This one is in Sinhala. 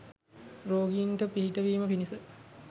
රෝගීන්ට පිහිටවීම පිණිස